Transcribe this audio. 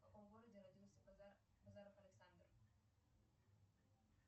в каком городе родился базаров александр